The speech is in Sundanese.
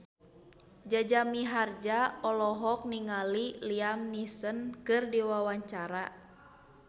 Jaja Mihardja olohok ningali Liam Neeson keur diwawancara